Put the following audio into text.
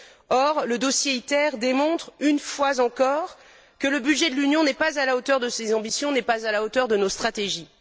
Or, le dossier ITER démontre, une fois encore, que le budget de l'Union n'est pas à la hauteur de ses ambitions et n'est pas à la hauteur de nos stratégies.